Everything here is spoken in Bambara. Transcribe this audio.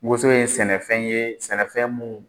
Woson ye sɛnɛfɛn ye sɛnɛfɛn mun